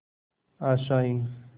आशाएं